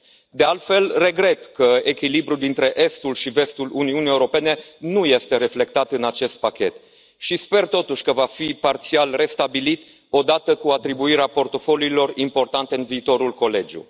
De altfel, regret că echilibrul dintre estul și vestul Uniunii Europene nu este reflectat în acest pachet și sper, totuși, că va fi parțial restabilit odată cu atribuirea portofoliilor importante în viitorul colegiu.